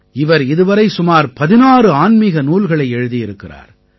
இவர் இதுவரை சுமார் 16 ஆன்மீக நூல்களை எழுதியிருக்கிறார்